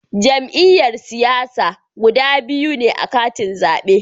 Jam'iyyar siyasa guda biyu ne a katin zabe